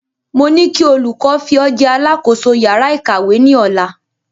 Mo ní kí olùkọ fi o jẹ alákòóso yàrá ìkàwé ni Ọ̀la